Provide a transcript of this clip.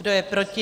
Kdo je proti?